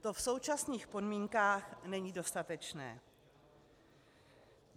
To v současných podmínkách není dostatečné.